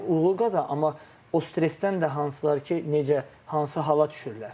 Həm uğur qazanır, amma o stresdən də hansılar ki, necə, hansı hala düşürlər.